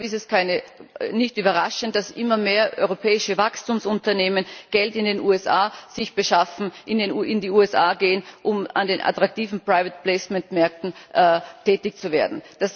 Deshalb ist es nicht überraschend, dass immer mehr europäische Wachstumsunternehmen sich in den USA Geld beschaffen, in die USA gehen, um an den attraktiven Private Placement Märkten tätig zu werden.